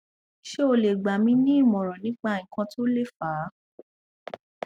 se o le gbami ni imoran nipa ikan to le fa